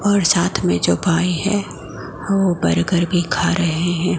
और साथ में जो भाई है वो बर्गर भी खा रहे हैं।